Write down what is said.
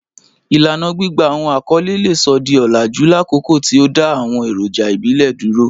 Ilana gbigba awọn akọle le sọ di olaju lakoko ti o da awọn eroja ibile duro